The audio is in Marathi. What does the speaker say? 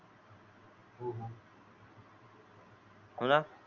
कोला